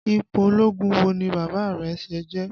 Ipò ológun wo ni Bàbá rẹ̀ ṣẹ̀ jẹ?